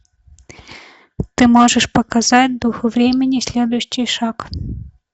ты можешь показать дух времени следующий шаг